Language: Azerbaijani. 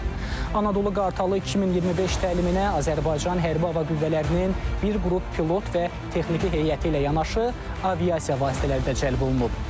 Anadolu Qartalı 2025 təliminə Azərbaycan hərbi hava qüvvələrinin bir qrup pilot və texniki heyəti ilə yanaşı aviasiya vasitələri də cəlb olunub.